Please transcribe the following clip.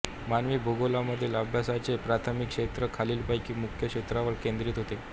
मानवी भूगोलमधील अभ्यासाचे प्राथमिक क्षेत्र खालीलपैकी मुख्य क्षेत्रांवर केंद्रित होते